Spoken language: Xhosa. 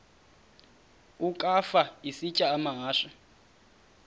ukafa isitya amahashe